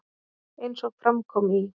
Eins og fram kom í